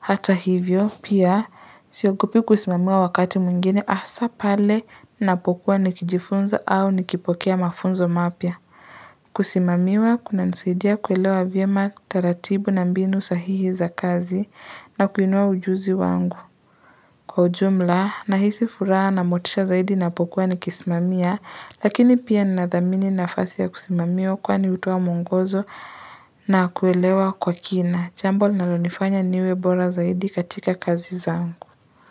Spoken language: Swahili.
Hata hivyo, pia siogopi kusimamiwa wakati mwingine, hasa pale ninapokuwa nikijifunza, au nikipokea mafunzo mapya. Kusimamiwa kunanisaidia kuelewa vyema, taratibu na mbinu sahihi za kazi na kuinua ujuzi wangu. Kwa ujumla, na hisi furaha na motisha zaidi ninapokuwa nikisimamia, lakini pia ninadhamini nafasi ya kusimamiwa, kwani hutoa mwongozo, na kuelewa kwa kina. Jambo linalonifanya niwe bora zaidi katika kazi zangu.